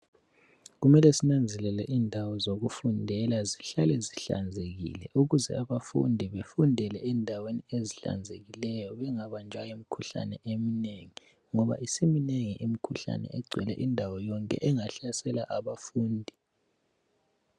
Kumele sinanzelele indawo zokufundela zihlale zihlanzekile ukuze abafundi befundele endaweni ezihlanzekileyo bengabanjwa yimikhuhlane emnengi ngoba isiminengi imikhuhlane egcwele indawo yonke engahlasela abafundi.